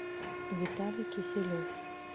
виталий киселев